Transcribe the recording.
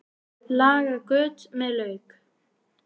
Laga göt með lauk